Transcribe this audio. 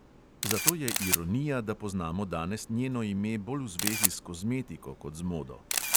Zato je ironija, da poznamo danes njeno ime bolj v zvezi s kozmetiko kot z modo.